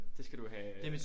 Det skal du have